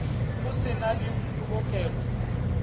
go se na le polokelo